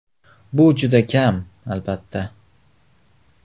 Bu juda kam, albatta.